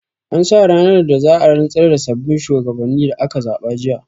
An sa ranar da za'a rantsar da sabbin shuwagabannin da aka zaɓa jiya